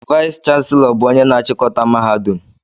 Vayis chansilọ bụ ónyé na-chikọta mahadum.